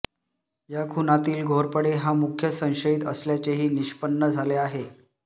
या खुनातील घोरपडे हा मुख्य संशयित असल्याचेही निष्पन्न झाले आहे